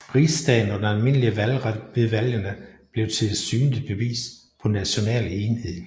Rigsdagen og den almindelige valgret ved valgene blev til et synligt bevis på national enhed